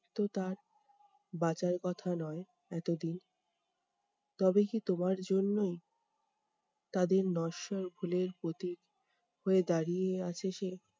তো তার বাঁচার কথা নয় এতদিন। তবে কি তোমার জন্যই তাদের নশ্বর ফুলের প্রতীক হয়ে দাঁড়িয়ে আছে সেই।